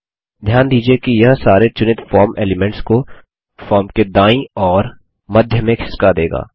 ध्यान दीजिये कि यह सारे चुनित फॉर्म एलीमेंट्स को फॉर्म के दायीं और मध्य में खिसका देगा